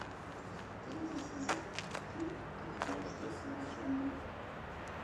третий сезон фильм как я встретил вашу маму